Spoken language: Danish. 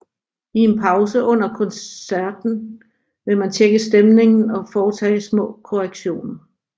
I en pause under koncerterten vil man tjekke stemningen og foretage små korrektioner